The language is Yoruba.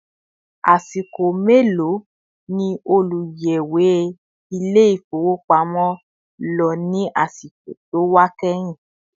Asiko melo ni oluyẹwe Ilé-ifowopamo lọ ní àsìkò tí ó wà kehin